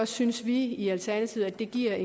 synes vi i alternativet det giver